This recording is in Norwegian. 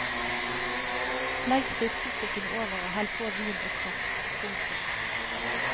Legg fiskestykkene over og hell på vin og kraft. punktum